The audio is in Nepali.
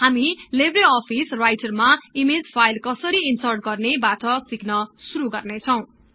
हामी लेब्रे अफिस राईटरमा ईमेज फाईल कसरी ईन्सर्ट गर्ने बाट सिक्न शुरु गर्नेछौं